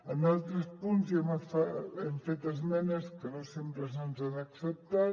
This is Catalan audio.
en altres punts hi hem fet esmenes que no sempre se’ns han acceptat